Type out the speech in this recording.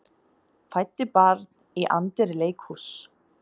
Fæddi barn í anddyri leikhúss